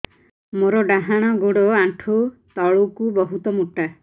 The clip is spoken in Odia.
ମୋର ଡାହାଣ ଗୋଡ ଆଣ୍ଠୁ ତଳୁକୁ ବହୁତ ମୋଟା